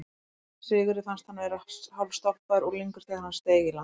Sigurði fannst hann vera hálfstálpaður unglingur þegar hann steig á land.